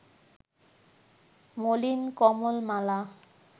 মলিন কমল-মালা